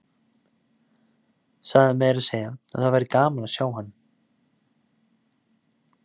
Sagði meira að segja að það væri gaman að sjá hann.